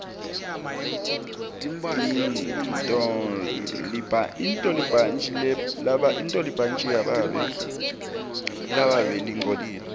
intolibhantji lababe lingcolile